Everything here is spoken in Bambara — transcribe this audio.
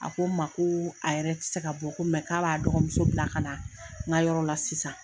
A ko ma koo a yɛrɛ tɛ se ka bɔ mɛ k'a b'a dɔgɔmuso bila ka na n ka yɔrɔ la sisan